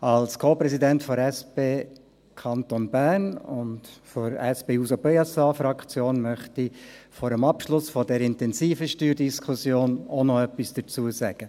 Als Co-Präsident der SP Kanton Bern und der SP-JUSO-PSA-Fraktion möchte ich vor dem Abschluss dieser intensiven Steuerdiskussion auch noch etwas dazu sagen.